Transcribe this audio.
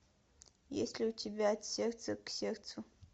есть ли у тебя от сердца к сердцу